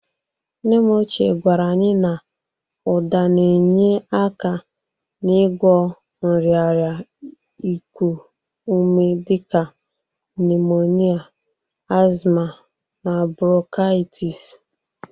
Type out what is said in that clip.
Nnem ochie gwara anyị na ụda na-enye aka n'ịgwọ nrịarịa iku ume dị ka nimonia, asma na bronkaịtis.